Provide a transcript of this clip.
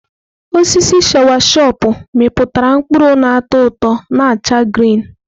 Osisi sawachọpụ mịpụtara mkpụrụ n'atọ ụtọ na acha grịn.